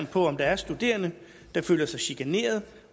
på om der er studerende der føler sig chikaneret